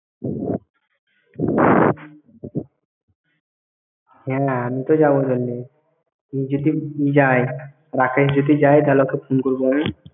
হ্যাঁ, আমি তো যাব বললে। রাকেশ যদি যায় তাহলে ওকে phone করবো আমি।